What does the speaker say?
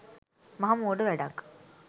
මහ මෝඩ වැඩක්.